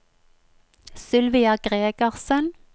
Sylvia Gregersen